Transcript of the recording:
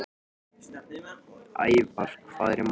Ævar, hvað er í matinn?